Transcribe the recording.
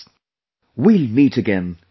We will meet again next month